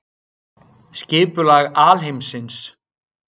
Skipulag alheimsins.